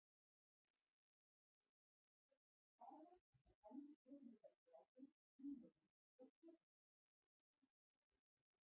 Lengd og breidd staða er þannig gefin upp í gráðum, mínútum og sekúndum.